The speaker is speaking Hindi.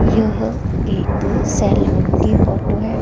यह एक सैलून की फोटो है।